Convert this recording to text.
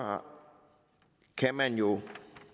kan man jo